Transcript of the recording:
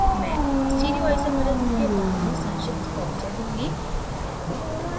मैं stereoiosmersism के बारे में संक्षिप्त परिचय दूँगी